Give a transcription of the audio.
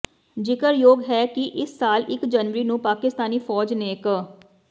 ਜ਼ਿਕਰਯੋਗ ਹੈ ਕਿ ਇਸ ਸਾਲ ਇਕ ਜਨਵਰੀ ਨੂੰ ਪਾਕਿਸਤਾਨੀ ਫ਼ੌਜ ਨੇ ਕ